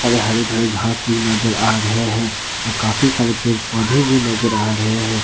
और ये हरे भरे घास भी नजर रहे है और काफी सारे पेड़ पौधे भी नजर आ रहे हैं।